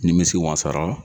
Nimisi wasara